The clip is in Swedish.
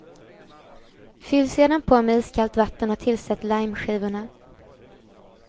Fyll sedan på med iskallt vatten och tillsätt limeskivorna.